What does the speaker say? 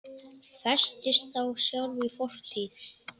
Festist þá sjálf í fortíð.